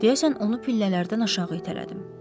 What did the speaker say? Deyəsən onu pillələrdən aşağı itələdim.